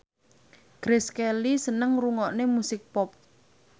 Grace Kelly seneng ngrungokne musik pop